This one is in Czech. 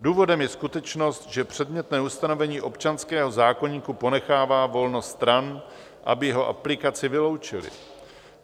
Důvodem je skutečnost, že předmětné ustanovení občanského zákoníku ponechává volnost stran, aby jeho aplikaci vyloučily.